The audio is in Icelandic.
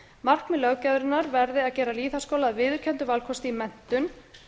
markmið löggjafarinnar verði að gera lýðháskóla að viðurkenndum valkosti í menntun